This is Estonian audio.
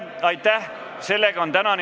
Tänane istung on lõppenud.